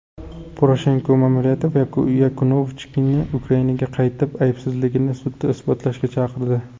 Poroshenko ma’muriyati Yanukovichni Ukrainaga qaytib, aybsizligini sudda isbotlashga chaqirdi.